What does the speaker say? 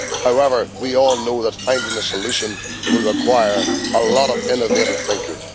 However, we all know that finding a solution will require a lot of innovative thinking.